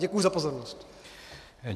Děkuji za pozornost.